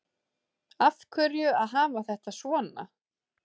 Af hverju að hafa þetta svona